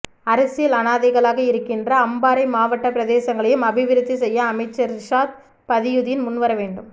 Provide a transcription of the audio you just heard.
அரசியல் அனாதைகளாக இருக்கின்ற அம்பாறை மாவட்ட பிரதேசங்களையும் அபிவிருத்தி செய்ய அமைச்சர் ரிசாத் பதியுதீன் முன் வர வேண்டும்